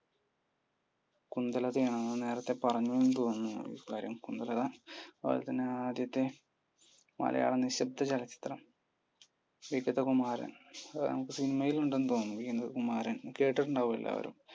കുന്ദലത ആണെന്ന് നേരത്തെ പറഞ്ഞു എന്നു തോന്നുന്നു ഇക്കാര്യം കുന്ദലത. അതുപോലെതന്നെ ആദ്യത്തെ മലയാള നിശബ്ദ ചലച്ചിത്രം? വിഗതകുമാരൻ. അത് നമുക്ക് cinima യിൽ ഉണ്ടെന്നു തോന്നുന്നു, വിഗതകുമാരൻ. കേട്ടിട്ടുണ്ടാവും എല്ലാരും.